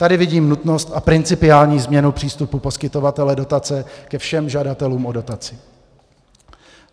Tady vidím nutnost a principiální změnu přístupu poskytovatele dotace ke všem žadatelům o dotaci.